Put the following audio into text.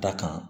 Da kan